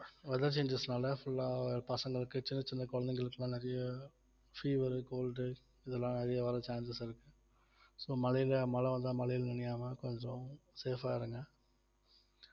weather changes னால full ஆ பசங்களுக்கு சின்னச் சின்ன குழந்தைகளுக்கு எல்லாம் நிறைய fever உ cold உ இதெல்லாம் வெளிய வர chances இருக்கு so மழையில மழ வந்தா மழையில நினையாம கொஞ்சம் safe ஆ இருங்க